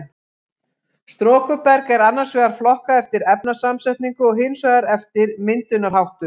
Storkuberg er annars vegar flokkað eftir efnasamsetningu og hins vegar eftir myndunarháttum.